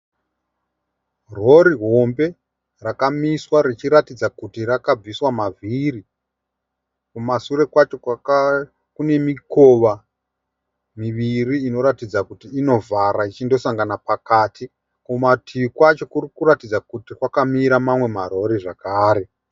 Rori hombe rakamiswa richiratidza kuti rakabviswa mavhiri. Kumashure kwacho kune mikova miviri inoratidza kuti inovhara ichindosangana pakati. Kumativi wacho kurikuratidza kuti kwakamira mamwe marori zvakare.